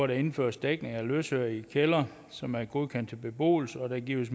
der indføres dækning af løsøre i kældre som er godkendt til beboelse og der gives